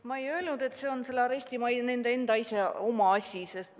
Ma ei öelnud, et see on arestimaja enda asi.